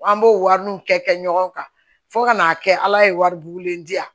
An b'o wari nu kɛ kɛ ɲɔgɔn kan fo ka n'a kɛ ala ye wari bugulen di yan